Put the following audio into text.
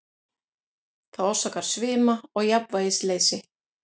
Það orsakar svima og jafnvægisleysi.